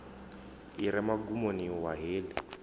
i re mugumoni wa heḽi